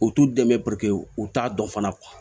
U t'u dɛmɛ u t'a dɔn fana